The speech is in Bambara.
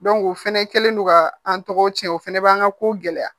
o fɛnɛ kɛlen no ka an tɔgɔw tiɲɛ o fana b'an ka kow gɛlɛya